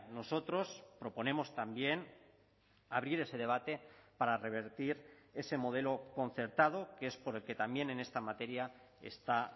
nosotros proponemos también abrir ese debate para revertir ese modelo concertado que es por el que también en esta materia está